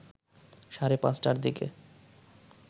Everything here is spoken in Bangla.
সাড়ে ৫টার দিকে